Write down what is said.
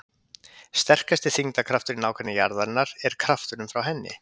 sterkasti þyngdarkrafturinn í nágrenni jarðarinnar er krafturinn frá henni